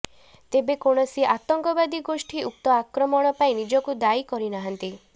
ତେବେ କୌଣସି ଆତଙ୍କବାଦୀ ଗୋଷ୍ଠୀ ଉକ୍ତ ଆକ୍ରମଣ ପାଇଁ ନିଜକୁ ଦାୟୀ କରିନାହାନ୍ତି